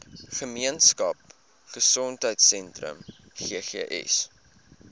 gemeenskap gesondheidsentrum ggs